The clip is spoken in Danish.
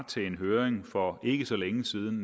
til en høring for ikke så længe siden